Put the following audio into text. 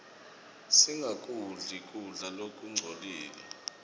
singakudli kudla lokungcolile